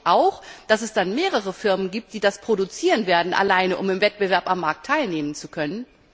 Glauben Sie nicht auch, dass es dann mehrere Firmen gibt, die das produzieren werden, allein um im Wettbewerb am Markt teilnehmen zu können?